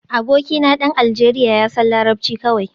Abokina dan Aljeriya ya san larabci kawai